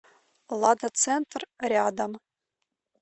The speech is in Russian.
лада центр рядом